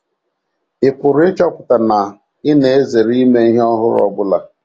Ị pụrụ ịchọpụta na ị na - ezere ime ihe ọhụrụ ọ bụla..